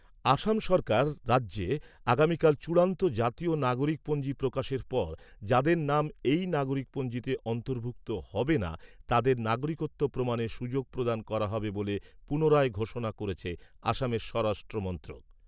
আসাম সরকার রাজ্যে আগামীকাল চূড়ান্ত জাতীয় নাগরিকপঞ্জি প্রকাশের পর যাদের নাম এই নাগরিকপঞ্জিতে অন্তর্ভুক্ত হবে না তাদের নাগরিকত্ব প্রমাণের সুযোগ প্রদান করা হবে বলে পুনরায় ঘোষণা করেছে আসামের স্বরাষ্ট্র।